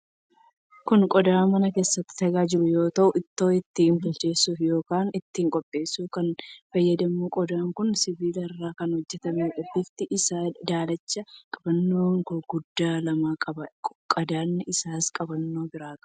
Kun qodaa mana keessatti tajaajilu yoo ta'u, ittoo itti bilcheessuuf yookiin ittiin qopheessuuf kan fayyaduudha. Qodaan kun sibiila irraa kan hojjetameedha. Bifti isaa daalachadha. Qabannoo guguddaa lama qaba. Qadaadni isaas qabannoo biraa qaba.